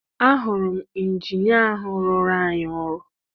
Ahụrụ m ịnjinịa ahụ rụrụ anyị ọrụ.